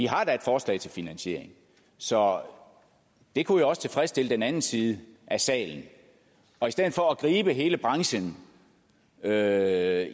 har da et forslag til finansiering så det kunne jo også tilfredsstille den anden side af salen og i stedet for at hele branchen i hvad